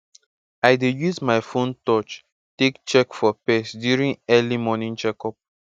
i dey use my phone touch take check for pest during early morning check up